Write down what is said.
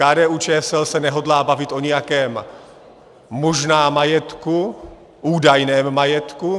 KDU-ČSL se nehodlá bavit o nějakém možném majetku, údajném majetku.